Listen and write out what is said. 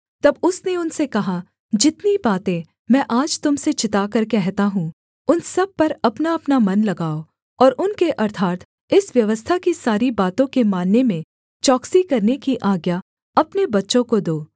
तब उसने उनसे कहा जितनी बातें मैं आज तुम से चिताकर कहता हूँ उन सब पर अपनाअपना मन लगाओ और उनके अर्थात् इस व्यवस्था की सारी बातों के मानने में चौकसी करने की आज्ञा अपने बच्चों को दो